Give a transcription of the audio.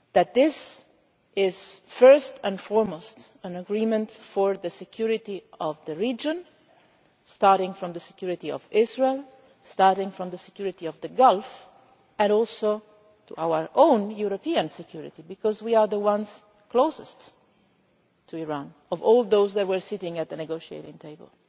This is first and foremost an agreement for the security of the region starting with the security of Israel, starting with the security of the Gulf, but also for our own European security because, as Europeans, we were the ones closest to Iran of all those sitting at the negotiating table.